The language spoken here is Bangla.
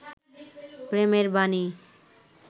প্রেমের বানী